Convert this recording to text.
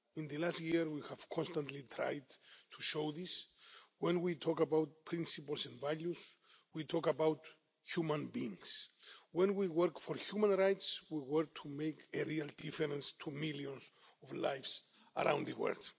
In the last year we have constantly tried to show this when we talk about principles and values we talk about human beings. When we work for human rights, we work to make a real difference to millions of lives around the world.